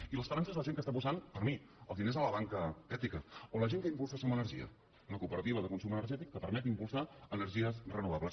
i l’esperança és la gent que està posant per mi els diners a la banca ètica o la gent que impulsa som energia una cooperativa de consum energètic que permet impulsar energies renovables